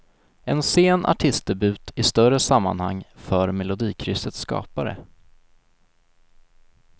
En sen artistdebut i större sammanhang för melodikryssets skapare.